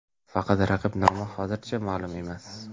Faqat raqib nomi hozircha ma’lum emas.